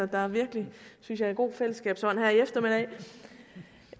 der er virkelig synes jeg en god fællesskabsånd her i eftermiddag